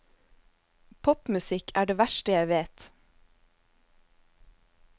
Popmusikk er det verste jeg vet.